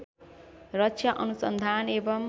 रक्षा अनुसन्धान एवं